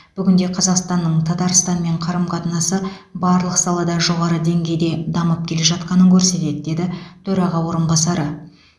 бүгінде қазақстанның татарстанмен қарым қатынасы барлық салада жоғары деңгейде дамып келе жатқанын көрсетеді деді төраға орынбасары